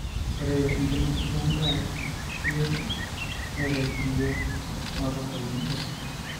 ore enkinosata endaa bioto neret iyiok matotoni esidai,